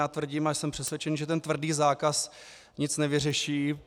Já tvrdím a jsem přesvědčen, že ten tvrdý zákaz nic nevyřeší.